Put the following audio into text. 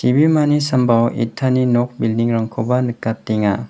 ibimani sambao itani nok bilding rangkoba nikatenga.